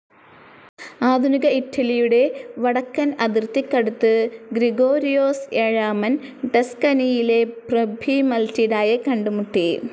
ആധുനിക ഇറ്റലിയുടെ വടക്കൻ അതിർത്തിക്കടുത്ത് ഗ്രിഗോരിയോസ് ഏഴാമൻ, ടസ്കനിയിലെ പ്രഭ്വി മറ്റിൽഡായെ കണ്ടുമുട്ടി.